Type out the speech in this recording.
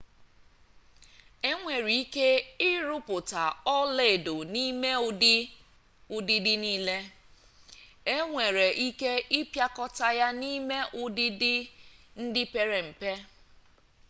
e nwere ike ịrụpụta ọla edo n'ime ụdị ụdịdị niile e nwere ike ịpịakọta ya n'ime ụdịdị ndị pere mpe